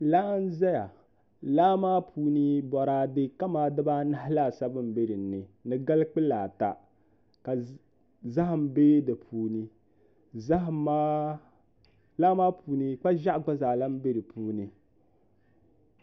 Laa n ʒɛya laa maa puuni boraadɛ kamani dibaanahi laasabu n bɛ dinni ni gali kpulaa ta ka zaham bɛ di puuni laa maa puuni kpa ʒiɛɣu gba zaa lahi bɛ di puuni